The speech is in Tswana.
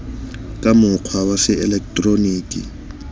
ka mokgwa wa se eleketeroniki